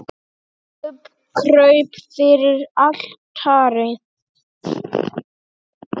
Biskup kraup fyrir altari.